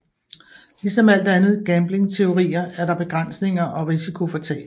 Ligesom alt andet gambling teorier er der begrænsninger og risiko for tab